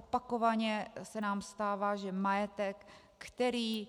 Opakovaně se nám stává, že majetek, který